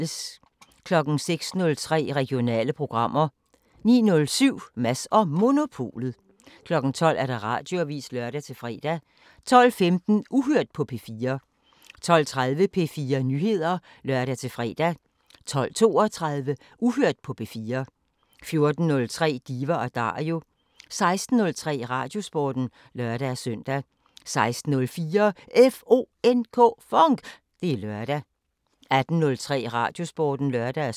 06:03: Regionale programmer 09:07: Mads & Monopolet 12:00: Radioavisen (lør-fre) 12:15: Uhørt på P4 12:30: P4 Nyheder (lør-fre) 12:32: Uhørt på P4 14:03: Diva & Dario 16:03: Radiosporten (lør-søn) 16:04: FONK! Det er lørdag 18:03: Radiosporten (lør-søn)